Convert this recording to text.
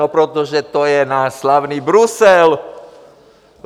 No protože to je náš slavný Brusel!